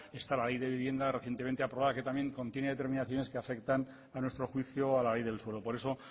está la ley de vivienda recientemente aprobada que también contiene determinaciones que afectan a nuestro juicio a la ley del suelo por eso